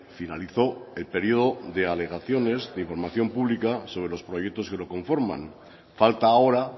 finalizó el periodo de alegaciones de información pública sobre los proyectos que lo conforman falta ahora